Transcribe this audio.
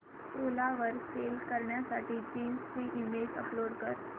ओला वर सेल करण्यासाठी जीन्स ची इमेज अपलोड कर